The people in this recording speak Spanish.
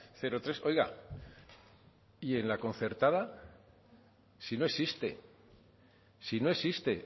cero tres oiga y en la concertada si no existe si no existe